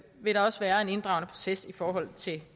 vil der også være en inddragende proces i forhold til